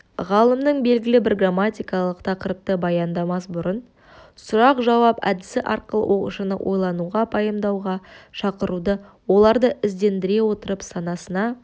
ғалымның белгілі бір грамматикалық тақырыпты баяндамас бұрын сұрақ-жауап әдісі арқылы оқушыны ойлануға пайымдауға шақыруды оларды іздендіре отырып санасына